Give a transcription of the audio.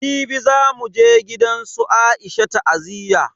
Jibi zamu je gidansu Aisha ta'aziyya.